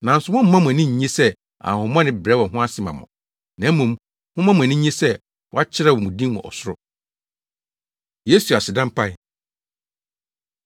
Nanso mommma mo ani nnye sɛ ahonhommɔne brɛ wɔn ho ase ma mo, na mmom, momma mo ani nnye sɛ wɔakyerɛw mo din wɔ ɔsoro.” Yesu Aseda Mpae